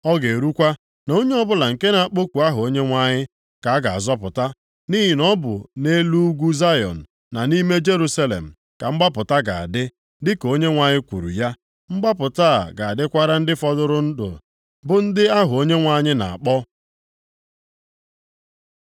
Ọ ga-erukwa na onye ọbụla nke na-akpọku aha Onyenwe anyị ka a ga-azọpụta. Nʼihi na ọ bụ nʼelu ugwu Zayọn, na nʼime Jerusalem ka mgbapụta ga-adị, dịka Onyenwe anyị kwuru ya. Mgbapụta a ga-adịkwara ndị fọdụrụ ndụ, bụ ndị ahụ Onyenwe anyị na-akpọ.